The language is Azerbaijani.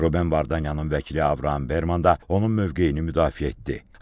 Ruben Vardanyanın vəkili Avram Berman da onun mövqeyini müdafiə etdi.